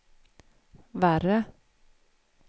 värre